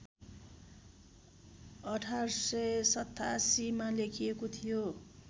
१८८७ मा लेखिएको थियो